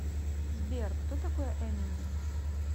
сбер кто такой эминем